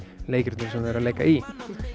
leikritinu sem þau leika í